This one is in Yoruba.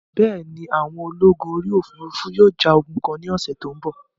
Bẹ́ẹ̀ni, àwọn ológun orí òfurufú yóò ja ogun kan ní ọ̀sẹ̀ tó ń bọ̀